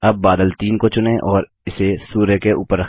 अब बादल 3 को चुनें और इसे सूर्य के ऊपर रखते हैं